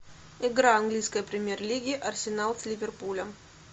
игра английской премьер лиги арсенал с ливерпулем